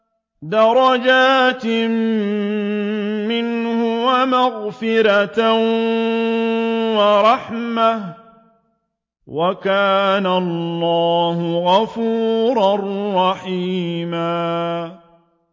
دَرَجَاتٍ مِّنْهُ وَمَغْفِرَةً وَرَحْمَةً ۚ وَكَانَ اللَّهُ غَفُورًا رَّحِيمًا